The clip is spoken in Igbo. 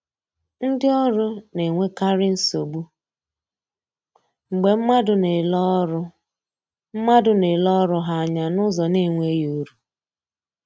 Ndi ọrụ na-enwekarị nsogbu mgbe mmadụ na-ele ọrụ mmadụ na-ele ọrụ ha anya n’ụzọ na-enweghị uru